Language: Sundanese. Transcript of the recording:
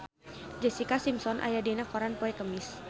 Jessica Simpson aya dina koran poe Kemis